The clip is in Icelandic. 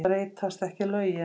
Breytast ekki lögin?